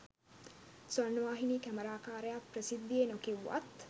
ස්වර්ණවාහිනී කැමරාකාරයා ප්‍රසිද්ධියේ නොකිව්වත්